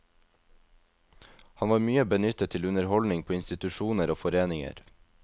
Han var mye benyttet til underholdning på institusjoner og foreninger.